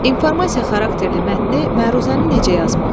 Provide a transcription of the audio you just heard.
İnformasiya xarakterli mətni, məruzəni necə yazmalı?